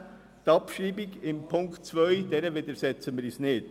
Der Abschreibung von Punkt 2 widersetzen wir uns nicht.